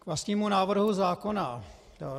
K vlastnímu návrhu zákona.